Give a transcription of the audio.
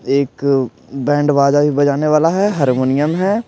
एक बैंड बाजा भी बजाने वाला है हारमोनियम है ।